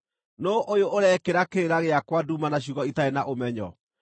“Nũũ ũyũ ũrekĩra kĩrĩra gĩakwa nduma na ciugo itarĩ na ũmenyo?